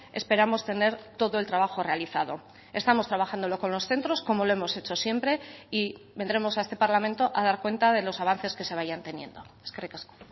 esperamos tener todo el trabajo realizado estamos trabajándolo con los centros como lo hemos hecho siempre y vendremos a este parlamento a dar cuenta de los avances que se vayan teniendo eskerrik asko